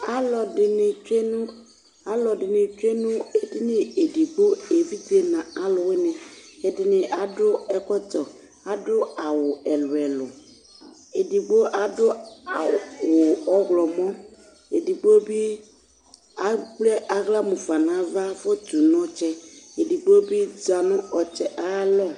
alɔdini tsue nũ alɔdini tsué nũ édini edigbo evidzé na alũwïni ɛdini adũ ɛkɔtɔ adũ awũ ɛlũɛlũ édigbo adũ a e ɔylɔmɔ édigbo bi akple ayla mũfa nava fɔtũ nɔtsɛ edigbo bi zanũ ɔtsɛ ayalɔ